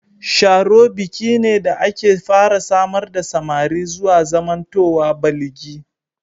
Sharo biki ne da ake fara samar da samari zuwa zamantowa baligi.